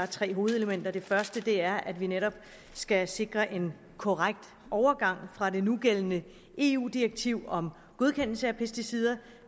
tre hovedelementer det første er at vi netop skal sikre en korrekt overgang fra det nugældende eu direktiv om godkendelse af pesticider